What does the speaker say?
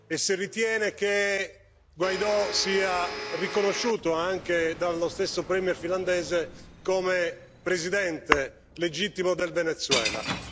e se ritiene che Juan Guaidó sia riconosciuto, anche dallo stesso premier finlandese, come Presidente legittimo del Venezuela.